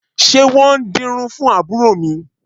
Ṣé wọn ń dirun fún àbúrò mi?